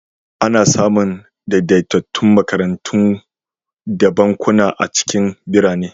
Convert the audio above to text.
Ana samun daidaitattun makarantu da bankuna a cikin birane.